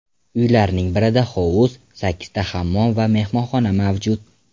Uylarning birida hovuz, sakkizta hammom va mehmonxona mavjud.